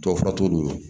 Tɔw fatuli